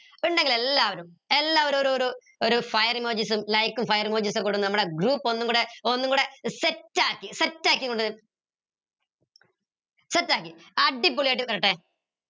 ഇണ്ടെങ്കിൽ എല്ലാവരും എല്ലാവരും ഒരു ഒരു ഒരു fire emojis ഉം like fire emojis ഉം ഒക്കെ കൂടെ നമ്മുടെ group ഒന്നുംകൂടെ ഒന്നുംകൂടെ set ആക്കി set ആക്കി set ആക്കി അടിപൊളി ആയിട്ട് വരട്ടെ